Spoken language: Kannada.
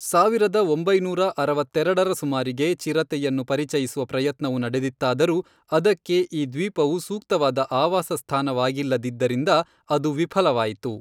ಸಾವಿರದ ಒಂಬೈನೂರ ಅರವತ್ತೆರೆಡರ ಸುಮಾರಿಗೆ ಚಿರತೆಯನ್ನು ಪರಿಚಯಿಸುವ ಪ್ರಯತ್ನವು ನಡೆದಿತ್ತಾದರೂ ಅದಕ್ಕೆ ಈ ದ್ವೀಪವು ಸೂಕ್ತವಾದ ಆವಾಸಸ್ಥಾನವಾಗಿಲ್ಲದಿದ್ದರಿಂದ ಅದು ವಿಫಲವಾಯಿತು.